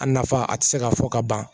A nafa a tɛ se ka fɔ ka ban